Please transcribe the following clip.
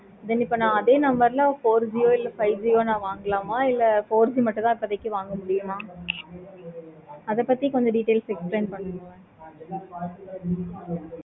then இப்போ அதே number ல four G யோ இல்ல five G வாங்கலாமா இல்லை four G மட்டும் தான் இப்போதைக்கு வாங்க முடியும். அத பத்தி கொஞ்சம் details explain பண்ணுங்க.